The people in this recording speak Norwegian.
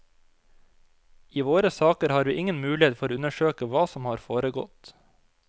I våre saker har vi ingen mulighet for å undersøke hva som har foregått.